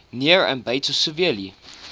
near ambato severely